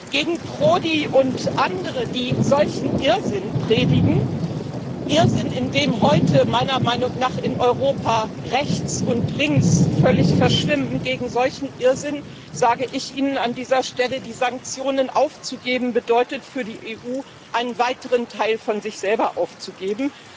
Gegen Prodi und andere, die solchen Irrsinn predigen Irrsinn, in dem heute meiner Meinung nach in Europa Rechts und Links völlig verschwimmen gegen solchen Irrsinn sage ich Ihnen an dieser Stelle Die Sanktionen aufzugeben bedeutet für die EU, einen weiteren Teil von sich selber aufzugeben.